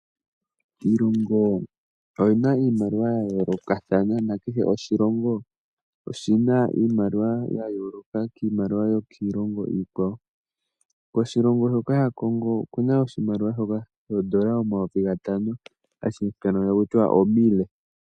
Iilongo oyina iimaliwa ya yoolokathana na kehe oshilongo oshina iimaliwa ya yooloka kiimaliwa kiilongo iikwawo. Koshilongo shoka sha Congo okuna oshimaliwa shoka shoondola omayovi gatano hashi ithanwa taku tiwa omile.